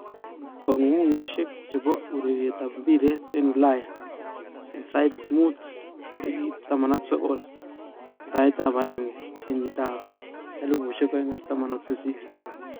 Kongungunyoshek chepo ureret ap piret en ulaya en satap mut 19.01.2018